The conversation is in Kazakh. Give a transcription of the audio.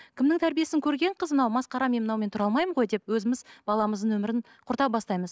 кімнің тәрбиесін көрген қыз мынау масқара мен мынаумен тұра алмаймын ғой деп өзіміз баламыздың өмірін құрта бастаймыз